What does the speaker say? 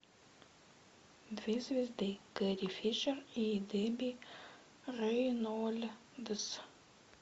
две звезды керри фишер и дебби рейнольдс